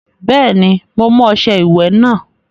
Bẹ́ẹ̀ni, mo mú ọṣẹ ìwẹ̀ náà.